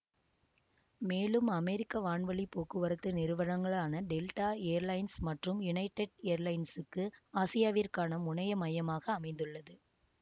மேலும் அமெரிக்க வான்வழி போக்குவரத்து நிறுவனங்களான டெல்டா ஏர்லைன்ஸ் மற்றும் யுனைடெட் ஏர்லைன்சுக்கு ஆசியாவிற்கான முனைய மையமாக அமைந்துள்ளது